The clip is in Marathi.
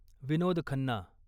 विनोद खन्ना